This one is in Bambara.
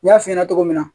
N y'a f'i ɲɛna cogo min na